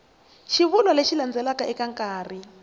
xivulwa lexi landzelaka eka nkarhi